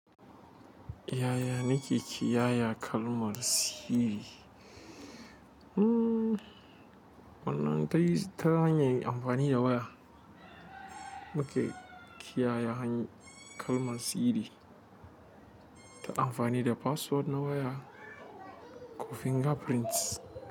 Yaya nake kiyaye kalmar sirri? Hmm, wannan tayi ta hanyar amfani da waya. Yaya muke kiyaye kalmar sirri? Muna amfani da password na waya ko finger print.